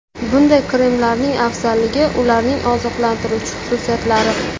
Bunday kremlarning afzalligi – ularning oziqlantiruvchi xususiyatlari.